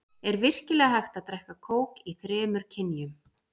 Er virkilega hægt að drekka kók í þremur kynjum?